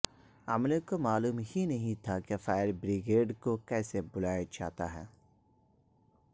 عملے کو معلوم ہی نہیں تھا کے فائر بریگیڈ کو کسے بلایا جاتا ہے